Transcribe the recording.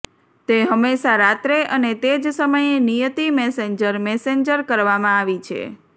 તે હંમેશા રાત્રે અને તે જ સમયે નિયતિ મેસેન્જર મેસેન્જર કરવામાં આવી છે